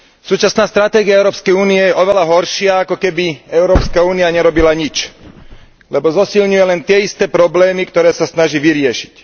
Súčasná stratégia Európskej únie je oveľa horšia, ako keby Európska únia nerobila nič, lebo zosilňuje len tie isté problémy, ktoré sa snaží vyriešiť.